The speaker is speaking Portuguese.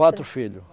Quatro filhos.